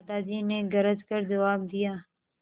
दादाजी ने गरज कर जवाब दिया